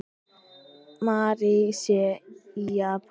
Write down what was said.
Mary sé í Japan.